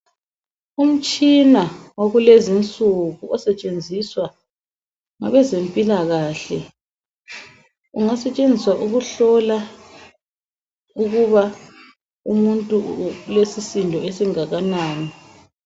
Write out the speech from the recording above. Umtshina wakulezinsuku osetshenziswa ngabezempilakahle, ungasetshenziswa ukuhlola ukuba umuntu ulesisindo esingakanani.